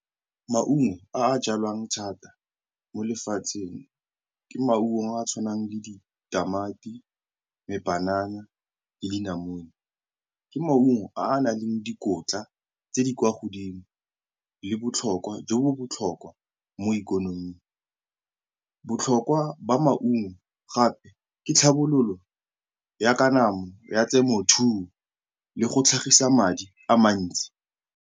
Maungo a a jalwang thata mo lefatsheng ke maungo a a tshwanang le ditamati, dipanana le dinamune. Ke maungo a a nang le dikotla tse di kwa godimo le botlhokwa jo bo botlhokwa mo ikonoming. Botlhokwa ba maungo gape ke tlhabololo ya kanamo ya temothuo le go tlhagisa madi a mantsi.